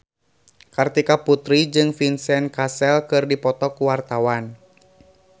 Kartika Putri jeung Vincent Cassel keur dipoto ku wartawan